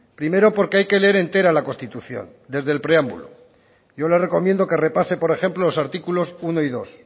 primero porque hay que leer entera la constitución desde el preámbulo yo le recomiendo que repase por ejemplo los artículos uno y dos